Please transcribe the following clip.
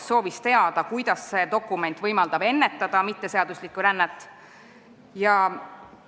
Ta soovis teada, kuidas võimaldab see dokument mitteseaduslikku rännet ennetada.